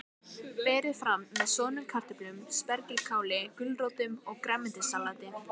Berið fram með soðnum kartöflum, spergilkáli, gulrótum og grænmetissalati.